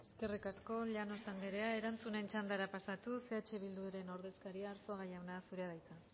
eskerrik asko llanos andrea erantzunen txandara pasatuz eh bilduren ordezkaria arzuaga jauna zurea da hitza